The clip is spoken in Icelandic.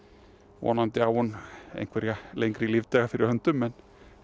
vonandi á hún einhverja lengri lífdaga fyrir höndum en